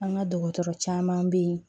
An ka dɔgɔtɔrɔ caman be yen